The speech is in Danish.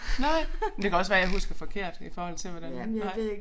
Nej men det kan også være jeg husker forkert i forhold til hvordan nej